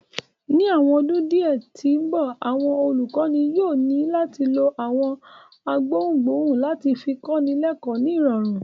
Ni awọn ọdun diẹ ti nbọ, awọn olukọni yóò ni lati lo awọn gbohungbohun lati fi kọni lẹkọ ni irọrun